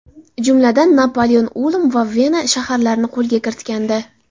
Jumladan, Napoleon Ulm va Vena shaharlarini qo‘lga kiritgandi.